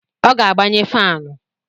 Ọ ga-agbanye fanụ